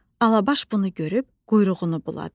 Alabaş bunu görüb quyruğunu buladı.